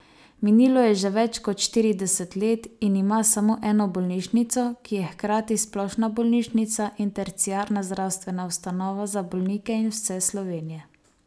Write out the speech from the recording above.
Minilo je že več kot štirideset let in ima samo eno bolnišnico, ki je hkrati splošna bolnišnica in terciarna zdravstvena ustanova za bolnike iz vse Slovenije.